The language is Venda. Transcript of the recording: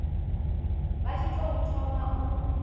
vha tshi tou thoma u